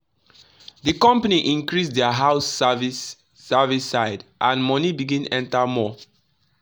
the company increase their house service service side and money begin enter more.